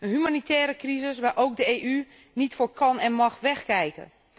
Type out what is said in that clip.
Een humanitaire crisis, waar ook de EU niet voor kan en mag wegkijken.